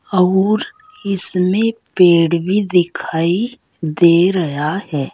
आउर इसमें पेड़ भी दिखाई दे रया है।